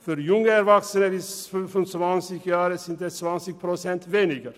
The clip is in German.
Für junge Erwachsene bis 25 Jahre sind es 20 Prozent weniger.